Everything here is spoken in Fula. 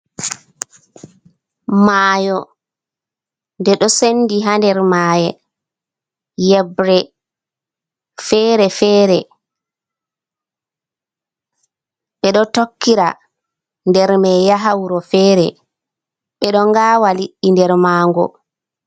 Mayo nde ɗo sendi ha nder maye, yebre fere-fere, ɓe ɗo tokkira nder mai yaha wuro fere, ɓe ɗo ngawa liɗɗi nder mango.